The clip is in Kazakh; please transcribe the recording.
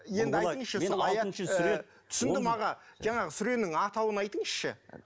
енді айтыңызшы сол аят түсіндім аға жаңағы сүренің атауын айтыңызшы